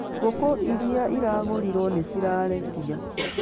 Ngũkũ iria iragũrirwo nĩ cirarekia